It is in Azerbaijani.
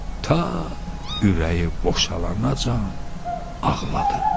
Ta ürəyi boşalanacan ağladı.